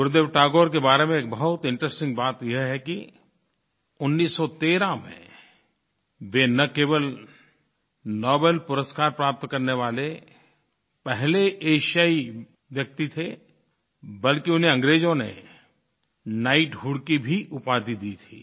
गुरुदेव टैगोर के बारे में एक बहुत इंटरेस्टिंग बात यह है कि 1913 में वे न केवल नोबेल नोबेल पुरस्कार प्राप्त करने वाले पहले एशियाई व्यक्ति थे बल्कि उन्हें अंग्रेज़ों ने नाइटहुड की भी उपाधि दी थी